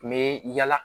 N bɛ yala